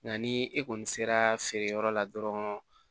Nka ni e kɔni sera feere yɔrɔ la dɔrɔn